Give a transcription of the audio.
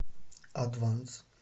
адванс